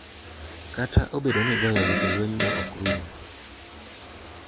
Kata obedo ni igoyogi to lwenygo ok rum.